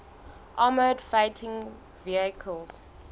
armoured fighting vehicles